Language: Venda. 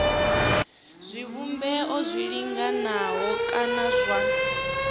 zwivhumbeo zwi linganaho kana zwa